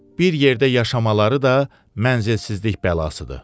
Bir yerdə yaşamaları da mənzilsizlik bəlasıdır.